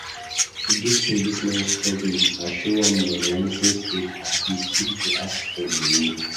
Dis policeman stop me, I show am my license papers ,he still dey ask for money